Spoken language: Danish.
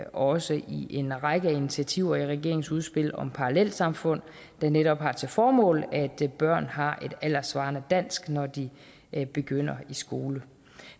også i en række initiativer i regeringens udspil om parallelsamfund der netop har til formål at børn har et alderssvarende dansk når de begynder i skolen